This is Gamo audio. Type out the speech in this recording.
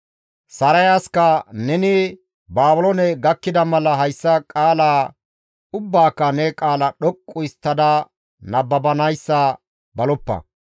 Sarayaska, «Neni Baabiloone gakkida mala hayssa qaala ubbaaka ne qaala dhoqqu histtada nababanayssa baloppa.